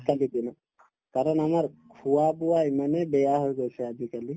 কাৰণ আমাৰ খোৱা-বোৱা ইমানে বেয়া হৈ গৈছে আজিকালি